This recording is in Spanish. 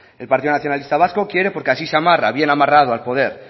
el partido nacionalista vasco quiere porque así se amarra bien amarrado al poder